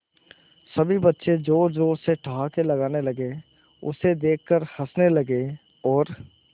सभी बच्चे जोर जोर से ठहाके लगाने लगे उसे देख कर हंसने लगे और